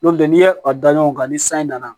N'o tɛ n'i ye a da ɲɔgɔn kan ni san in nana